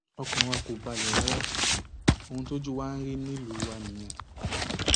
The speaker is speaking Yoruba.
ọkàn wa kò balẹ rárá ohun tójú wa ń rí nílùú wa nìyẹn